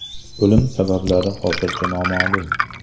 O‘lim sabablari hozircha noma’lum.